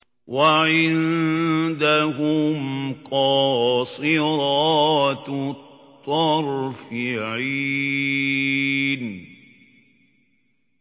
وَعِندَهُمْ قَاصِرَاتُ الطَّرْفِ عِينٌ